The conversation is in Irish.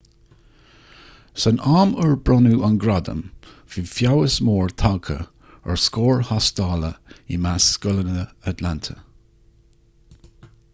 san am ar bronnadh an gradam bhí feabhas mór tagtha ar scóir thástála i measc scoileanna atlanta